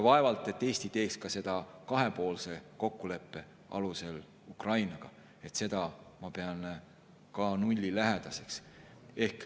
Vaevalt, et Eesti teeks seda ka kahepoolse kokkuleppe alusel Ukrainaga, seda ma pean ka nullilähedaseks.